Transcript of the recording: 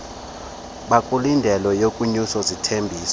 bakulindeleyo wonyuswe zizithembiso